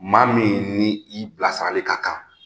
Maa min ni i bilasirarali ka kan